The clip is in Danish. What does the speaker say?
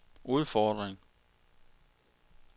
udfordring